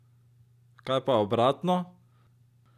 Kaj pa obratno?